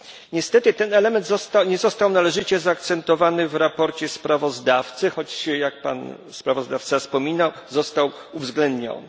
Niestety ten element nie został należycie zaakcentowany w sprawozdaniu przez sprawozdawcę, choć jak pan sprawozdawca wspominał, został uwzględniony.